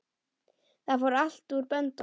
Það fór allt úr böndum.